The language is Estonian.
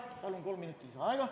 Palun kolm minutit lisaaega!